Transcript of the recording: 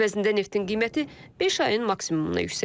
Əvəzində neftin qiyməti beş ayın maksimumuna yüksəlib.